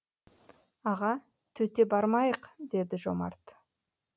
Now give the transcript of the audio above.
аға төте бармайық деді жомарт